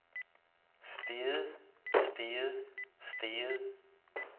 steget steget steget